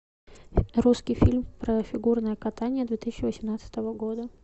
русский фильм про фигурное катание две тысячи восемнадцатого года